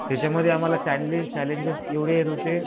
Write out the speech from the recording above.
त्याच्यामध्ये आम्हाला चॅलेंजेस एवढे येत होते.